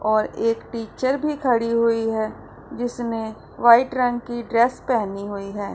और एक टीचर भी खड़ी हुई है जिसने व्हाइट रंग की ड्रेस पहनी हुई है।